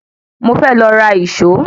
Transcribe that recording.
Mo fẹ́ lọ ra ìṣó.